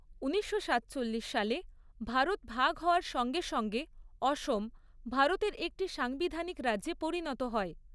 উনিশশো সাতচল্লিশ সালে ভারত ভাগ হওয়ার সঙ্গে সঙ্গে অসম ভারতের একটি সাংবিধানিক রাজ্যে পরিণত হয়।